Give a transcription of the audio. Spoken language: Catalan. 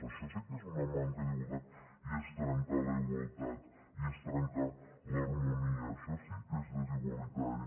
això sí que és una manca d’igualtat i és trencar la igualtat i és trencar l’harmonia això sí que és desigualitari